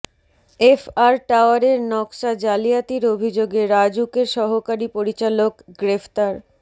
F R টাওয়ারের নকশা জালিয়াতির অভিযোগে রাজউকের সহকারী পরিচালক গ্রেফতার